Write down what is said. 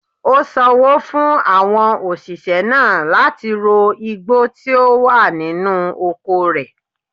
Ó sanwó fún àwọn òṣìṣẹ́ náà láti ro igbó tí ó wà nínú oko rẹ̀.